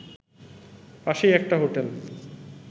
পাশেই একটা হোটেল